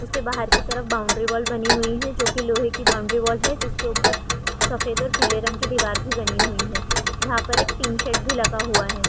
उसके बाहर की तरफ बॉउन्ड्रीवॉल बनी हुई है जो की लोहे की है जिसके उपर सफ़ेद और पिले रंग की दिवार भी बनी हुए है यहाँ पे एक पिंक सेड भी लगा हुआ है।